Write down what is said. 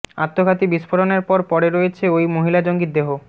আত্মঘাতী বিস্ফোরণের পর পরে রয়েছে ওই মহিলা জঙ্গির দেহ